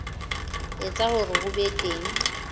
etsa hore ho be teng